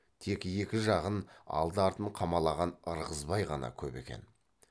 тек екі жағын алды артын қамалаған ырғызбай ғана көп екен